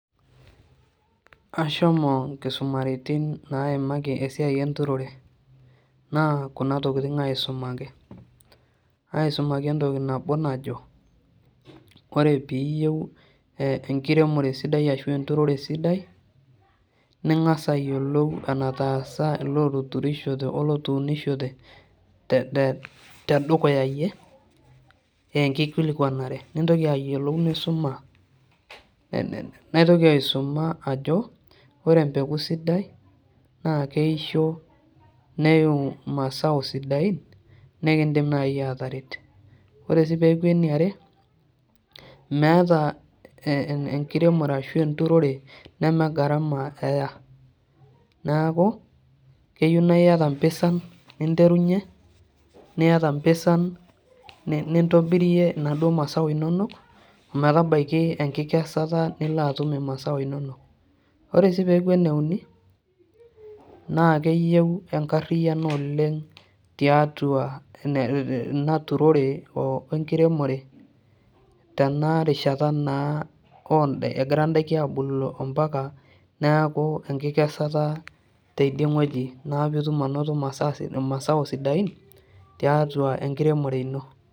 Ashomo nkisumaritin naimaki esiai enturore, naa kuna tokiting aisumaki ,asimaki entoki najo ,ore pee iyieu enkiremore ashu enturore sidai ,ningas ayiolou enetaasa leetuturishote olootunishote tedukuya yie ee enkikilikuanare ,nintoki ayiolou nisuma ,naitoki aisuma ajo ore empeku sidai naa keisho neiu masao siadain nikindima naaji ataretu. ore pee eku eniare meeta enturore ashu enkiremore neme garama eya. neeku keyieu naa iyata pisan ninterunyie, niyata mpisan nintobirie naduo masao inonok ometabaiki erishata nilo atum masao inonok. ore sii peeku eneuni naa keyeiu enkariano oleng ina torore wenkiremore tena rishata naa engira ndaiki ebulu ompaka neeku enkikesata ntidei weji naa poee itum anoto masao siatin tiatua enkiremore ino.